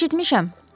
Eşitmişəm.